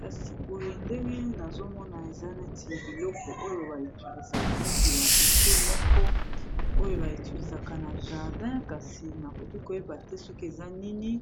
kasi boye ndenge nazomona eza neti ya biloko oyo baetilisaka neti ba utile moko oyo baetilisaka na jardin kasi nakoki koyeba te soki eza nini